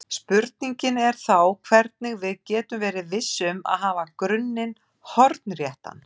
Spurningin er þá hvernig við getum verið viss um að hafa grunninn hornréttan.